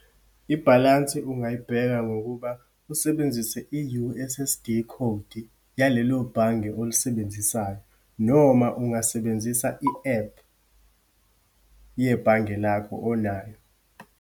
Ibhalansi ungayibheka, ngokuba usebenzise i-U_S_S_D khodi yalelo bhange olisebenzisayo. Noma ungasebenzisa i-ephu yebhange lakho onayo.